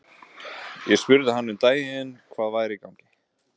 Ég spurði hann um daginn hvað væri í gangi?